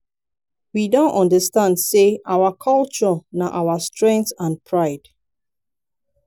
we don understand say our culture na our strength and pride.